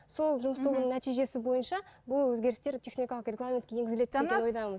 сол жұмыс тобының нәтижесі бойынша бұл өзгерістер техникалық регламентке енгізіледі деген ойдамын